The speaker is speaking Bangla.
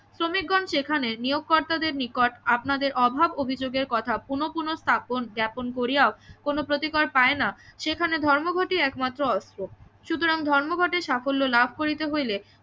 শ্রমিকগণ সেখানে নিয়োগ কর্তা দের নিকট আপনাদের অভাব অভিযোগ এর কথা পুনঃ পুনঃ স্থাপন জ্ঞ্যাপন করিয়াও কোনো প্রতিকার পায় না সেখানে ধর্মঘটই একমাত্র অস্ত্র সুতরাং ধর্মঘটের সাফল্য লাভ করিতে হলে